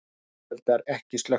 Sinueldar ekki slökktir